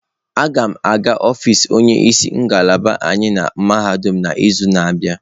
A ga m aga ọfịs onye isi ngalaba anyị na mahadum n'izu na-abịa.